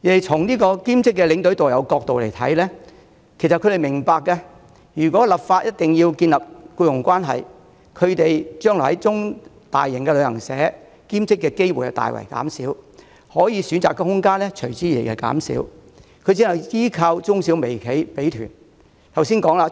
從兼職領隊及導遊的角度來看，他們亦明白，立法規定建立僱傭關係的建議，會令他們將來在大型旅行社兼職的機會大減，其選擇空間隨之減少，他們只能依靠小型旅行社派團。